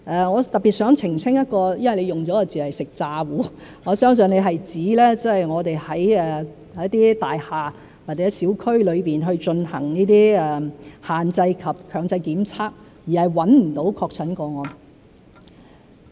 我特別想澄清，謝議員用的一個字眼——"食詐糊"，我相信他是指我們在一些大廈或者小區裏進行限制及強制檢測，而找不到確診個案。